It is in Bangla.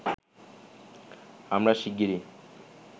আমরা শিগগিরই